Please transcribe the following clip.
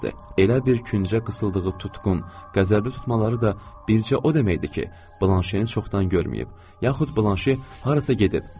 Elə bir küncə qısildığı tutqun, qəzəbli tutmaları da bircə o deməkdir ki, Blanşeni çoxdan görməyib, yaxud Blanşe harasa gedib.